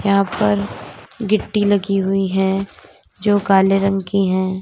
यहां पर गिट्टी लगी हुई है जो काले रंग की है।